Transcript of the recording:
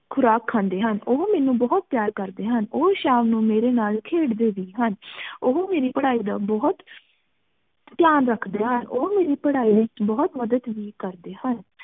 ਖੁਰਾਕ ਖੰਡੀ ਹਨ ਓਹੋ ਮਨੁ ਬੋਹਤ ਪ੍ਯਾਰ ਕਰਦੀ ਹਨ ਓਹ ਸ਼ਾਮ ਨੂ ਮੇਰੀ ਨਾਲ ਖੇਡਦੀ ਵੀ ਸਨ ਓਹੋ ਮੇਰੀ ਪਢ਼ਾਈ ਦਾ ਬੋਹਤ ਤ੍ਯ੍ਯਾਂ ਰਖਦੀ ਹਨ ਓਹੋ ਮੇਰੀ ਪਢ਼ਾਈ ਏਚ ਬੋਹਤ ਮਦਦ ਵੀ ਕਰਦੀ ਹਨ